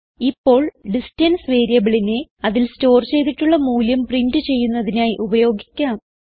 ഇപ്പോൾ ഡിസ്റ്റൻസ് വേരിയബിളിനെ അതിൽ സ്റ്റോർ ചെയ്തിട്ടുള്ള മൂല്യം പ്രിന്റ് ചെയ്യുന്നതിനായി ഉപയോഗിക്കാം